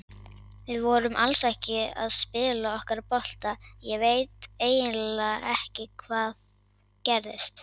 Við vorum alls ekki að spila okkar bolta, ég veit eiginlega ekki hvað gerðist.